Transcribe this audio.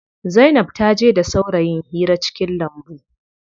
Zainab taje da saurayin hira cikin lambu.